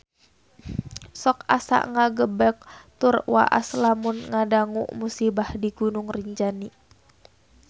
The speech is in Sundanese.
Sok asa ngagebeg tur waas lamun ngadangu musibah di Gunung Rinjani